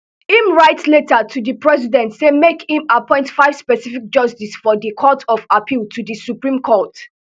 im write letter to di president say make im appoint five specific judges of di court of appeal to di supreme court